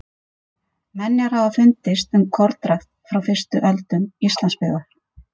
Menjar hafa fundist um kornrækt frá fyrstu öldum Íslandsbyggðar.